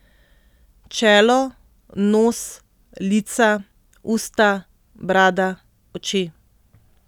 Čelo, nos, lica, usta, brada, oči.